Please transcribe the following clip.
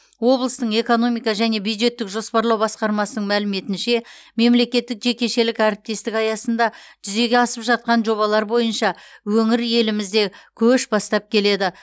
облыстың экономика және бюджеттік жоспарлау басқармасының мәліметінше мемлекеттік жекешелік әріптестік аясында жүзеге асып жатқан жобалар бойынша өңір елімізде көш бастап келеді